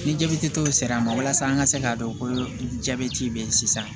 Ni jabɛti tɔw sera an ma walasa an ka se k'a dɔn ko jabɛti be yen sisan